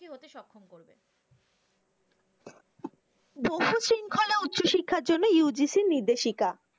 বহু শৃঙ্খলা উচ্চশিক্ষার জন্য UGC র নির্দেশিকা।